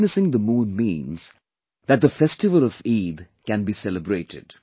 Witnessing the moon means that the festival of Eid can be celebrated